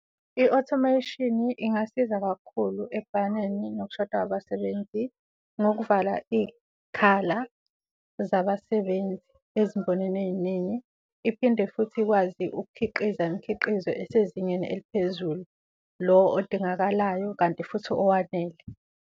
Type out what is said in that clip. I-automation ingasiza kakhulu ekubhakaneni nokushoda kwabasebenzi ngokuvala iy'khala zabasebenzi ezimbonini ey'ningi, iphinde futhi ikwazi ukukhiqiza imikhiqizo esezingeni eliphezulu, lo odingakalayo kanti futhi owanele.